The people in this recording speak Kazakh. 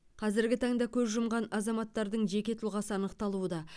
қазіргі таңда көз жұмған азаматтардың жеке тұлғасы анықталуда